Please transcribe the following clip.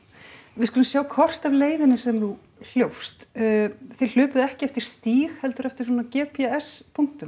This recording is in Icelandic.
við skulum sjá kort af leiðinni sem þú hljópst þið ekki eftir stíg heldur eftir g p s punktum